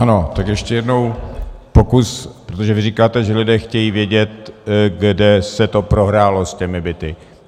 Ano, tak ještě jednou pokus, protože vy říkáte, že lidé chtějí vědět, kde se to prohrálo s těmi byty.